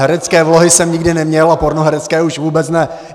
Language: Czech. Herecké vlohy jsem nikdy neměl a pornoherecké už vůbec ne.